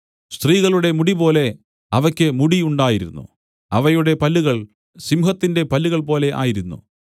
സ്ത്രീകളുടെ മുടിപോലെ അവയ്ക്ക് മുടി ഉണ്ടായിരുന്നു അവയുടെ പല്ലുകൾ സിംഹത്തിന്റെ പല്ലുകൾ പോലെ ആയിരുന്നു